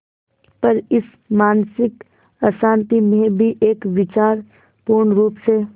पर इस मानसिक अशांति में भी एक विचार पूर्णरुप से